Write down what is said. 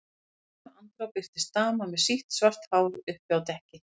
Í sömu andrá birtist dama með sítt, svart hár uppi á dekki.